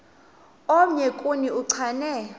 omnye kuni uchane